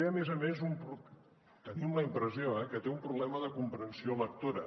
a més a més tenim la impressió que té un problema de comprensió lectora